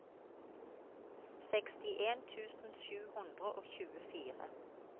sekstien tusen sju hundre og tjuefire